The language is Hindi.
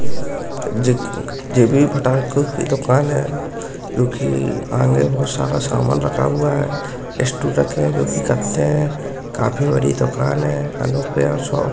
जे- जेबी फटाइओ की दुकान है-ए जो कि आगे बहुत सारा सामान रखा हुआ है-ए इस -स्टूल रखे हैं जो की इकट्ठे हैं-ए काफी बड़ी दुकान है-ए अनुपेया शॉप --